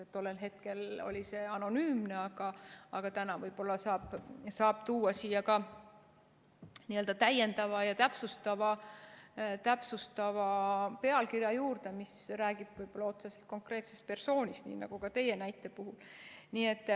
Tollel hetkel oli ta anonüümne, aga täna võib-olla saab tuua siia ka täiendava ja täpsustava pealkirja juurde, mis räägib otseselt konkreetsest persoonist, nii nagu ka teie näite puhul.